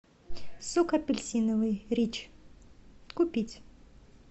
сок апельсиновый рич купить